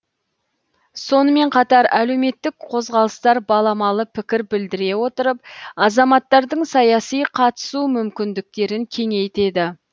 сонымен қатар әлеуметтік қозғалыстар баламалы пікір білдіре отырып азаматтардың саяси қатысу мүмкіндіктерін кеңейтеді